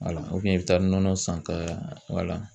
Wala i bɛ taa nɔnɔ san ka wala.